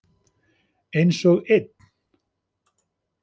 Einsog ein.